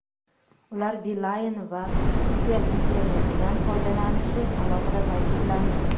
Ular Beeline va Kcell internetidan foydalanishi alohida ta’kidlandi.